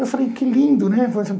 Eu falei, que lindo, né?